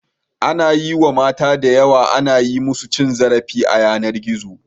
Anayi wa mata da yawa ana yi musu cin zarafi a yanar gizo